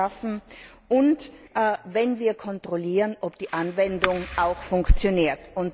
schaffen und wenn wir kontrollieren, ob die Anwendung auch funktioniert.